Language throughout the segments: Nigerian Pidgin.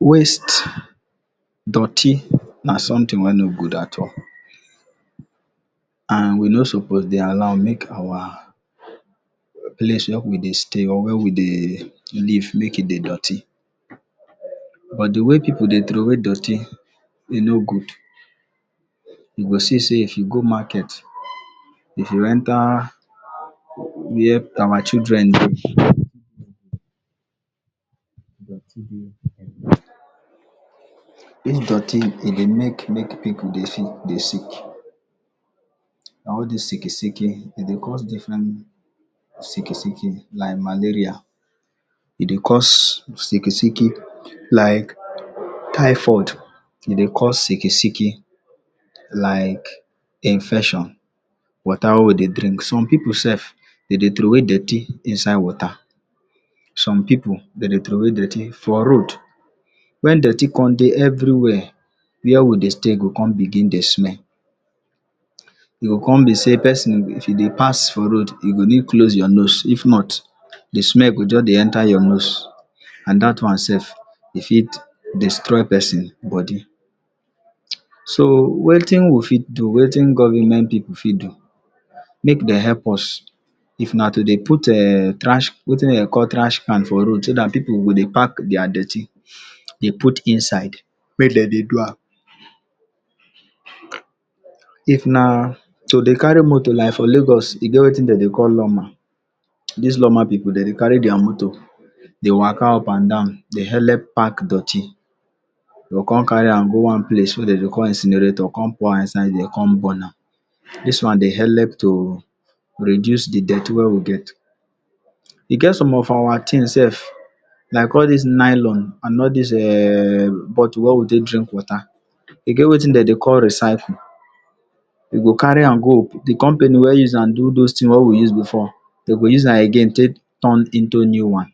Waste, dirty na something wey no good at all, and we no suppose dey allow make our place wey we dey stay or wey we dey live make e dey dirty, but de way pipu dey throwey dirty e no good. You go see sey if you go market, if you enter where our children dey dirty dey everywhere. Dis dirty e dey make make pipu dey sick dey sick and all dis sick e sick e, e dey cause different sick e sick e like malaria, e dey cause sick e sick e like typhoid, e dey cause sick e sick e like infection. Water wey we dey drink some pipu self dem dey throwey dirty inside water, some pipu dem dey throwey dirty for road, when dirty come dey everywhere, where we dey stay go come begin dey smell. E go come be sey person, if e dey pass for road you go need close your nose if not. The smell go just dey enter your nose and dat one self e fit destroy person body. So wetin we fit do wetin government pipu fit do make dem help us, if na to dey put um thrash bin wetin dem dey call thrash can for road so that pipu go dey park their dirty dey put inside make dem dey do am. If na to dey carry moto like for lagos e get wetin dem dey call lawma, dis lawma pipu dem dey carry their motor dey waka up and down dey help park their dirty dem go come carry am go one place wey dem dey call incinerator come pour am inside there come burn am dis one dey help to reduce the dirty wey we get. E get some of our things self like all dis nylon and all dis[um] bottle we we take drink water. E get wetin dem dey call recycle, we go carry am go, the company wey use am do wetin we use before, dem go use am again take turn into new one.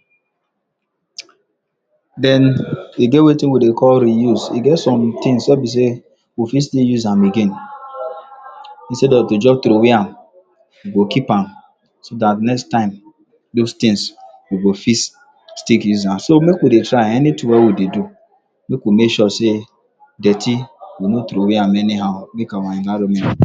Den e get wetin we dey call reuse get some things wey be sey we fit still use am again, instead of to just throwey am. We go keep am so dat next time those things we go fit still use am. So make we dey try anything wey we dey do, make we make sure sey dirty we no throwey am anyhow make our environment.